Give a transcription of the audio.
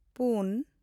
ᱯᱩᱱ